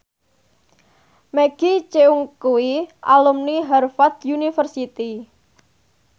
Maggie Cheung kuwi alumni Harvard university